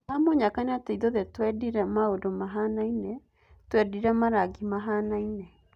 Hamũnyaka nĩatĩ ithuothe tũendire maũndu mahianaine, tũendire marangi mahianaine.